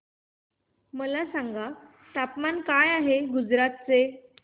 मला सांगा तापमान काय आहे गुजरात चे